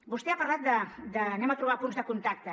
vostè ha parlat de trobem punts de contacte